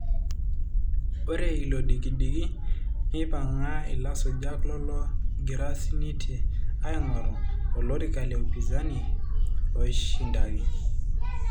Ore ilodikidiki neipanga ilasujak lologira sininte aingoru olorika leupinzani loishindaki.